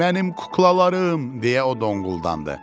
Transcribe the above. Mənim kuklalarım, deyə o donquldandı.